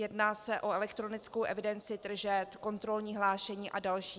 Jedná se o elektronickou evidenci tržeb, kontrolní hlášení a další.